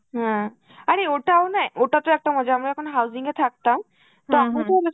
হম আরে ওটাও না ওটাতেও একটা মজা, আমরা যখন housing এ থাকতাম, তখন তো আমি